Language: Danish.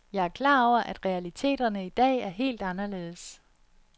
Jeg er klar over, at realiteterne i dag er helt anderledes.